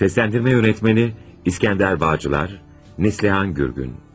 Səsləndirmə rejissoru İskəndər Bağcılar, Nəslihan Gürgün.